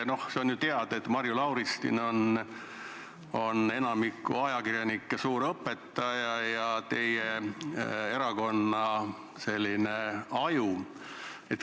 See on ju teada, et Marju Lauristin on enamiku ajakirjanike suur õpetaja ja teie erakonna aju.